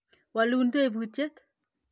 Walu teputyet ni.